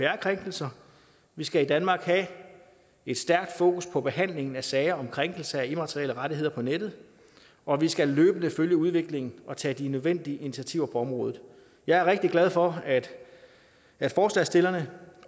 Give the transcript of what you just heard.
krænkelser vi skal i danmark have et stærkt fokus på behandlingen af sager om krænkelse af immaterielle rettigheder på nettet og vi skal løbende følge udviklingen og tage de nødvendige initiativer på området jeg er rigtig glad for at forslagsstillerne